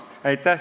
Aitäh!